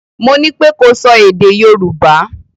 Mo ní pé ko sọ èdè Yorùbá!